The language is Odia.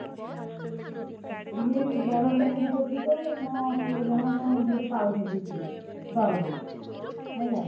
ସିଏ ବଡ ଚାକିରି କରିଛି ତ କଣ ଅଶିହଜାର ନା କଣ ଏମତି ଗୋଟେ ପାଉଛନ୍ତି ସିଏ ଦରମା ହେଲା